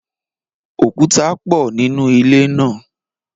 Òkúta pọ nínú ilé náà.